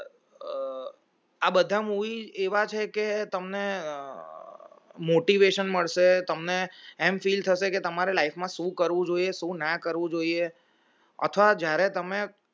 આ બધા movie એવા છે કે તમને motivation મળશે તમે તમને એમ feel તમારે life માં શું કરવું જોઈએ શું ના કરું જોએ અથવા તમે જ્યારે